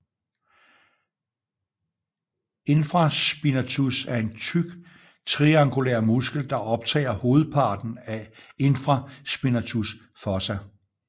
Infraspinatus er en tyk triangulær muskel der optager hovedpraten af infraspinatus fossa